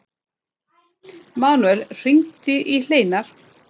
Manuel, hringdu í Hleinar.